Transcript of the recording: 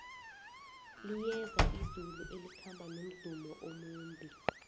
liyeza izulu elikhamba nomdumo omumbi